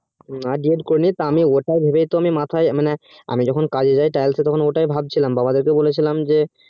হ্যাঁ আমি ওটা করিনি D. ED করিনি তা আমি ওটাই ভেবে তো আমি মাথায় মানে আমি যখন কাজে যাই আমি তখন ওটাই ভাবছিলাম বাবা দিকে বলেছিলাম যে